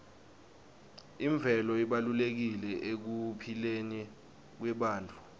imvelo ibalulekile ekuphileni kwebantfu